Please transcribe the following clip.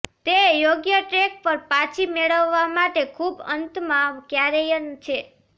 તે યોગ્ય ટ્રેક પર પાછી મેળવવા માટે ખૂબ અંતમાં ક્યારેય છે